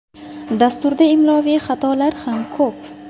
Dasturda imloviy xatolar ham ko‘p.